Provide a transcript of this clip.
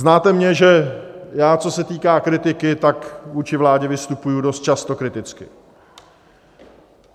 Znáte mě, že já, co se týká kritiky, tak vůči vládě vystupuji dost často kriticky.